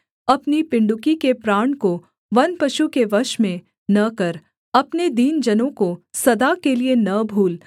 अपनी पिण्डुकी के प्राण को वन पशु के वश में न कर अपने दीन जनों को सदा के लिये न भूल